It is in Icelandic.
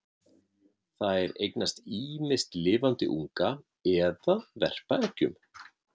Þær eignast ýmist lifandi unga eða verpa eggjum.